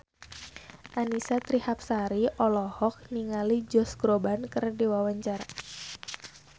Annisa Trihapsari olohok ningali Josh Groban keur diwawancara